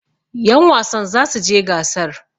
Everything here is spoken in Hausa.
yanwasan za su je gasar!